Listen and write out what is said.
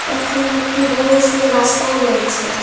এখানে একটি বড়ো সড়ো রাস্তাও রয়েছে।